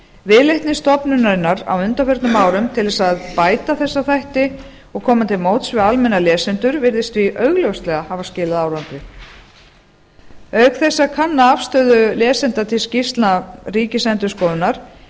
viðleitni stofnunarinnar á undanförnum árum til þess að bæta þessa þætti og koma til móts við almenna lesendur virðist því augljóslega hafa skilað árangri auk þess að kanna afstöðu lesenda til skýrslna ríkisendurskoðunar